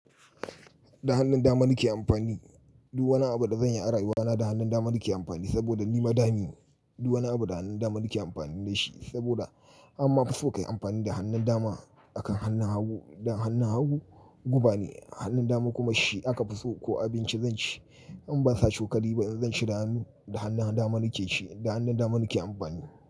Da hannun dama nake amfani. Duk wani abu da zanyi a rayuwa na da hannun dama nake amfani saboda ni ba dami ne. Du wani abu da hannun dama nake amfani da shi saboda amma fuso kayi amfani da hannun dama akan hannun hagu. Dan hannun hagu guba ne, hannun dama kuma shi aka fi so. Ko abinci zan ci in ban sa cokali ba in zan ci da hannu, da hannun dama nake ci da hannun dama nake amfani.